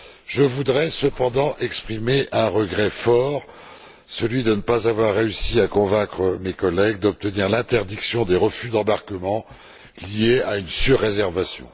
Je voudrais cependant exprimer un vif regret, celui de ne pas avoir réussi à convaincre mes collègues d'obtenir l'interdiction des refus d'embarquement liés à une surréservation.